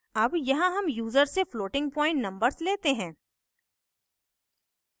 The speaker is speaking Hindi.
अब यहाँ हम यूज़र से floating point numbers लेते हैं